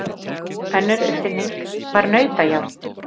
Önnur uppfinning var nautajárn.